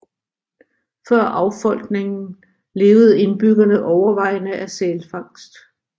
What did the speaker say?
Før affolkningen levede indbyggerne overvejende af sælfangst